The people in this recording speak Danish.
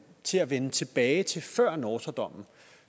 til at vende tilbage til før nortra dommen